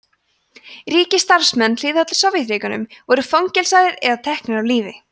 ríkisstarfsmenn hliðhollir sovétríkjunum voru fangelsaðir eða teknir af lífi